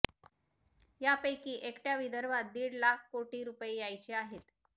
यापैकी एकटय़ा विदर्भात दीड लाख कोटी रुपये यायचे आहेत